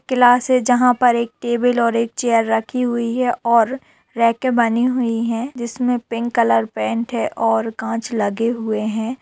Class है जहाँ पर एक टेबल है और एक चेयर रखी हुई है और रेके बनी हुई है जिसमें पिंक कलर पेंट है और कांच लगे हुए हैं।